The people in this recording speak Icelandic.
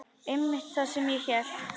Einmitt það sem ég hélt.